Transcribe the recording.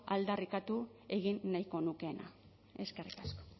aldarrikatu egin nahiko nukeena eskerrik asko